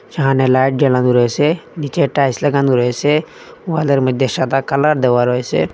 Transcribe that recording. সামনে লাইট জ্বালানো রয়েসে নীচে টাইলস লাগানো রয়েসে ওয়ালের মধ্যে সাদা কালার দেওয়া রয়েসে।